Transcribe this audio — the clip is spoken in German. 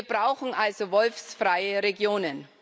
Wir brauchen also wolfsfreie Regionen.